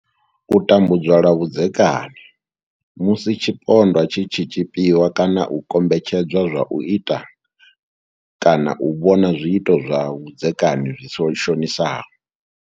U tambudzwa lwa vhudzekani musi tshipondwa tshi tshi tshipiwa kana u kombetshed zwa u ita kana u vhona zwiito zwa vhudzekani zwi shonisaho.